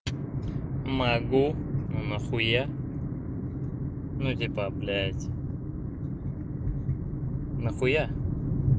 могу но на хуя ну типа блядь на хуя